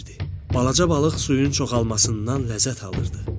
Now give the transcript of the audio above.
Balaca balıq suyun çoxalmasından ləzzət alırdı.